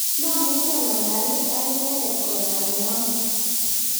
mamuchi ang'alali ak inendet koname amut